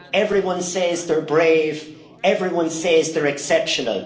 everyone says they are brave everyone says they are exceptional.